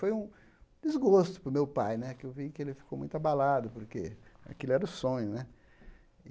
Foi um desgosto para o meu pai, né, que eu vi que ele ficou muito abalado, porque aquele era o sonho, né.